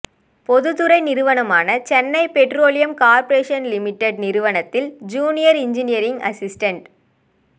பொதுத்துறை நிறுவனமான Chennai petroleum corporation limited நிறுவனத்தில் ஜூனியர் இன்ஜினியரிங் அசிஸ்டென்ட்